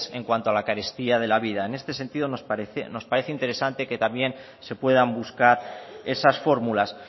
en cuanto a la carestía de la vida en este sentido nos parece interesante que también se puedan buscar esas fórmulas